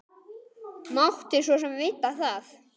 Mátti svo sem vita það.